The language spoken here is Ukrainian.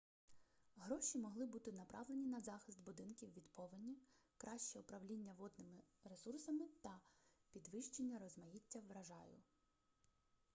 гроші могли бути направлені на захист будинків від повені краще управління водними ресурсами та підвищення розмаїття врожаю